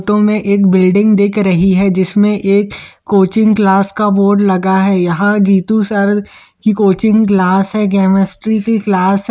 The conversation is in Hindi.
फोटो में एक बिल्डिंग दिख रही है जिसमें एक कोचिंग क्लास का बोर्ड लगा है यह जितु सर की कोचिंग क्लास है केमेस्ट्री की क्लास है।